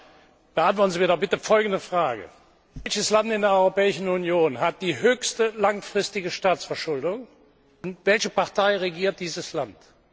Aber beantworten Sie mir doch bitte folgende Frage Welches Land in der Europäischen Union hat die höchste langfristige Staatsverschuldung, und welche Partei regiert dieses Land?